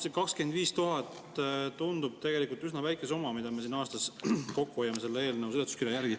See 25 000 tundub tegelikult üsna väike summa, mida me aastas kokku hoiame selle eelnõu seletuskirja järgi.